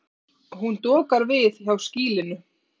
Hún dokar við hjá skýlinu.